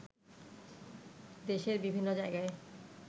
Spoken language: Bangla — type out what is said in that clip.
দেশের বিভিন্ন জায়গায়